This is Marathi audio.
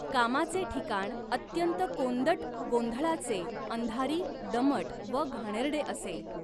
कामाचे ठिकाण अत्यंत कोंदट गोंधळाचे अंधारी दमट व घाणेरडे असे.